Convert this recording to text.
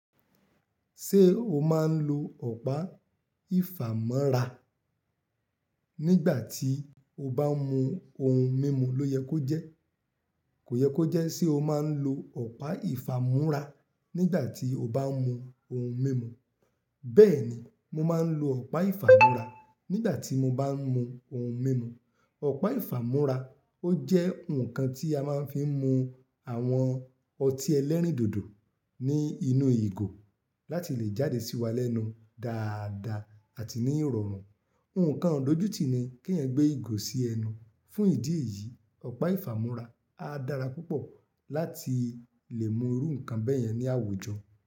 Ṣé o máa ń lo ọ̀pá ìfámọ́ra nígbà tí o bá ń mu ohun mímu? Kò yẹ kó jẹ́ sé o máa ń lo ọ̀pá ìfámúrá nígbà tí o bá ń mu ohun mímu. Bẹ́ẹ̀ni, mo máa ń lo ọ̀pá ìfámúrá nígbà tí mo bá ń mu ohun mímu. Ọ̀pá ìfámúrá ó jẹ́ ǹkan tí a máa ń fi ń mu àwọn ọtí ẹlẹ́rìndòdò ní inú ìgò láti lè jáde sí wa lẹ́nu dáadáa àti ní ìrọ̀rùn. Ǹkan ìdójú ti ni èèyàn gbé ìgò sí ẹnu fún ìdí èyí, ọ̀pá ìfámúrá a dára púpọ̀ láti lè mú irú ǹkan bẹ́ẹ̀ yẹn ní àwùjọ.